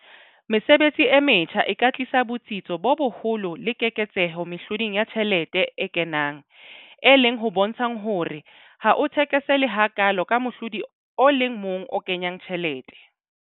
Mesebetsi e metjha e ka tlisa botsitso bo boholo le keketseho mehloding ya tjhelete e kenang, e leng ho bontshang hore ha o thekesele hakaalo ka mohlodi o le mong o kenyang tjhelete.